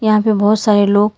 यहां पे बहुत सारे लोग--